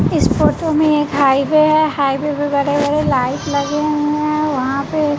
इस फोटो में एक हाईवे है हाईवे पे बड़े बड़े लाइट लगे हुए हैं वहां पे--